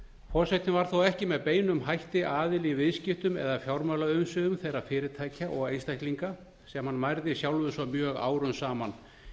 forsetinn var þó ekki með beinum hætti aðili í viðskiptum eða fjármálaumsvifum þeirra fyrirtækja og einstaklinga sem hann mærði sjálfur svo mjög árum saman